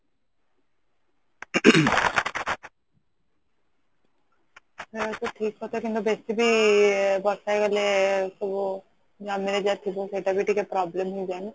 ଆଁ ସେଟା ଠିକ କଥା କିନ୍ତୁ ବେଶି ବି ବର୍ଷା ହେଇଗଲେ ସବୁ ଜମିରେ ଯାହା ଥିବା ସେଟା ବ ଗୋଟେ problem